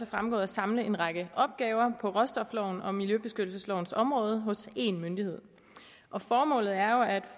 fremgået at samle en række opgaver på råstoflovens og miljøbeskyttelseslovens område hos én myndighed formålet er jo at